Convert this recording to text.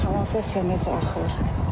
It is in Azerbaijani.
Kanalizasiya necə axır?